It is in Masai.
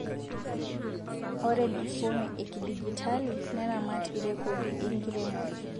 Ore mifumi e kidijitalii neramat irekodi enkiremore